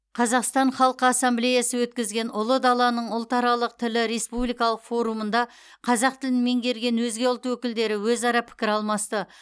қазақстан халқы ассамблеясы өткізген ұлы даланың ұлтаралық тілі республикалық форумында қазақ тілін меңгерген өзге ұлт өкілдері өзара пікір алмасты